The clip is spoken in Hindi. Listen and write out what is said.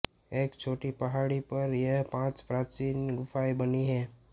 एक छोटी पहाड़ी पर यह पांच प्राचीन गुफाएं बनी हैं